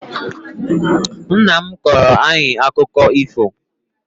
Nnam kọọro ayi akụkọ ifo